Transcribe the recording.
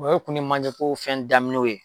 O ye tun ye manje ko fɛn daminɛw ye.